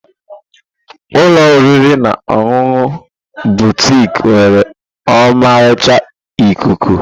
Ụlọ oriri na ọṅụṅụ Butik nwere ọmarịcha ikuku.